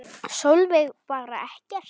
Sólveig: Bara ekkert?